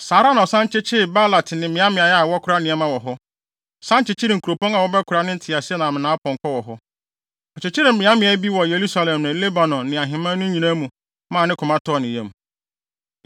Saa ara na ɔsan kyekyeree Baalat ne mmeaemmeae a wɔkora nneɛma wɔ hɔ, san kyekyeree nkuropɔn a wɔbɛkora ne nteaseɛnam ne nʼapɔnkɔ wɔ hɔ. Ɔkyekyeree mmeaemmeae bi wɔ Yerusalem ne Lebanon ne ahemman no nyinaa mu maa ne koma tɔɔ ne yam.